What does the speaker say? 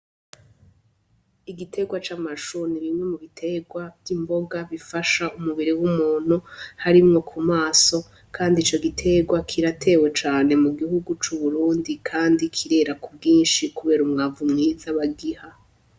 Igitegwa c'amashu ni bimwe mubitegwa vy'imboga bifasha mu mubiri w' umuntu harimwo ku maso kandi ico gitegwa kiratewe cane mu gihugu c'Uburundi kandi kirera ku bwinshi kubera umwavu mwiza bagiha.